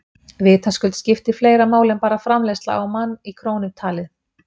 Vitaskuld skiptir fleira máli en bara framleiðsla á mann í krónum talið.